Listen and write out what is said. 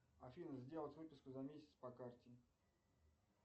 афина сделать выписку за месяц по карте